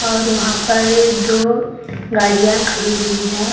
और वहां पर दो गाड़ियां खड़ी हुई है।